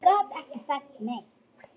Ég gat ekki sagt nei.